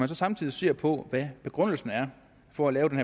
så samtidig ser på hvad begrundelsen er for at lave den